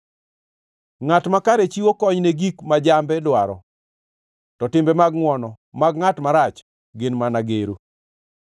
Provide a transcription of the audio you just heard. Ngʼat makare chiwo kony ne gik ma jambe dwaro, to timbe mag ngʼwono mag ngʼat marach gin mana gero.